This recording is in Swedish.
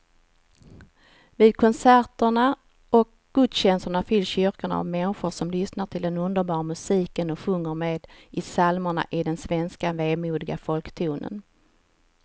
Vid konserter och gudstjänster fylls kyrkorna av människor som lyssnar till den underbara musiken och sjunger med i psalmerna i den svenska vemodiga folktonen.